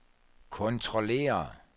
kontrollere